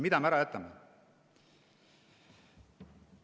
Mida me ära jätame?